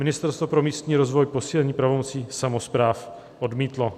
Ministerstvo pro místní rozvoj posílení pravomocí samospráv odmítlo."